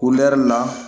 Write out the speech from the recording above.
la